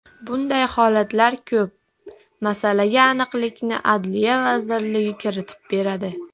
Bunday holatlar ko‘p, masalaga aniqlikni Adliya vazirligi kiritib beradi.